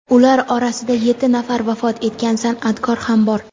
Ular orasida yetti nafar vafot etgan sana’tkor ham bor.